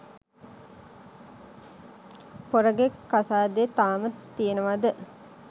පොරගෙ කසාදෙ තාම තියෙනවද?